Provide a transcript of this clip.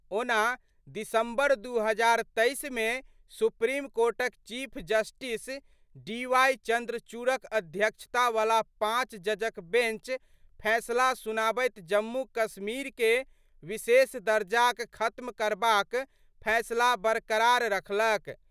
ओना दिसंबर 2023 मे सुप्रीम कोर्टक चीफ जस्टिस डीवाई चंद्रचूड़क अध्यक्षता वला पांच जजक बेंच फैसला सुनाबैत जम्मू-कश्मीर के विशेष दर्जाक खत्म करबाक फैसला बरकरार रखलक।